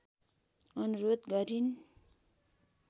अनुरोध गरिन्